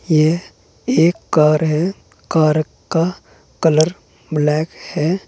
यह एक कार है कार का कलर ब्लैक है।